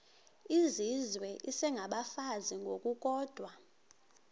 izizwe isengabafazi ngokukodwa